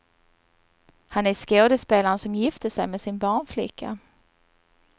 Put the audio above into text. Han är skådespelaren som gifte sig med sin barnflicka.